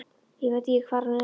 Ég veit ekki hvar hann er núna.